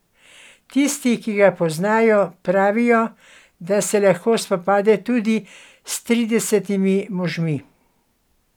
Tisti, ki ga poznajo, pravijo, da se lahko spopade tudi s tridesetimi možmi.